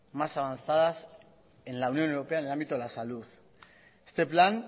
más avanzadas en la unión europea en el ámbito de la salud este plan